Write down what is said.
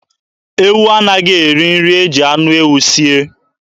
Ewu anaghị eri nri e ji anụ ewu sie.